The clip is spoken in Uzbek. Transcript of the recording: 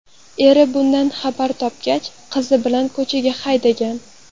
Eri bundan xabar topgach, qizi bilan ko‘chaga haydagan.